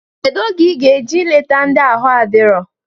Kedu oge iga eje eleta ndi aha adiro?